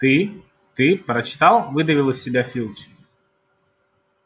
ты ты прочитал выдавил из себя филч